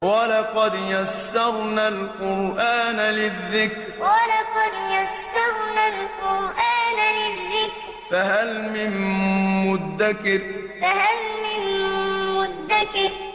وَلَقَدْ يَسَّرْنَا الْقُرْآنَ لِلذِّكْرِ فَهَلْ مِن مُّدَّكِرٍ وَلَقَدْ يَسَّرْنَا الْقُرْآنَ لِلذِّكْرِ فَهَلْ مِن مُّدَّكِرٍ